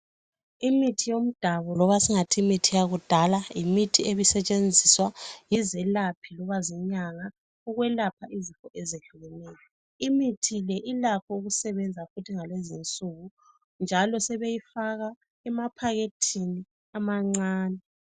Imithi yomdabu loba singathi Imithi yakudala yimithi ebisetshenziswa yizelaphi loba zinyanga ukwelapha izifo ezehlukeneyo imithi le ilakho ukusebenza futhi ngalezi insuku njalo sebeyifaka emaphakhethini amancane .